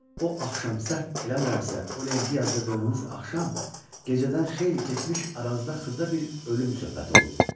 o axşam səhv eləmirəmsə, o lenti yazdırdığınız axşam gecədən xeyli keçmiş aranızda xırda bir ölüm söhbəti olub.